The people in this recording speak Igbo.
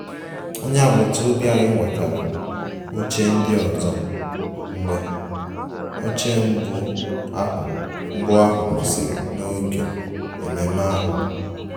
Onye agbata obi anyị wetara oche ndị ọzọ mgbe oche mbụ ahụ mbụ ahụ kwụsịrị n'oge ememe ahụ